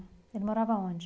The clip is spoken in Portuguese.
Ele morava onde?